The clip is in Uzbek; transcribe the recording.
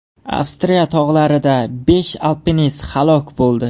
Avstriya tog‘larida besh alpinist halok bo‘ldi.